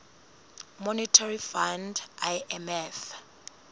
monetary fund imf